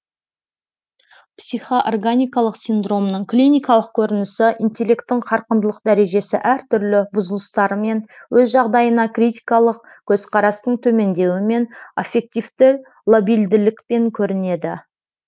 психоорганикалық синдромның клиникалық көрінісі интеллекттің қарқындылық дәрежесі әртүрлі бұзылыстарымен өз жағдайына критикалық көзқарастың төмендеуімен аффективті лабильділікпен көрінеді